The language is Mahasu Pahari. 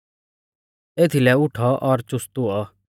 एथीलै उठौ और चुस्त हुऔ